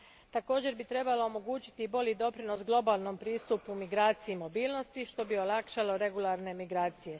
Također bi trebala omogućiti i bolji doprinos globalnom pristupu migraciji i mobilnosti, što bi olakšalo regularne migracije.